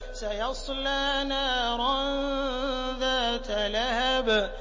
سَيَصْلَىٰ نَارًا ذَاتَ لَهَبٍ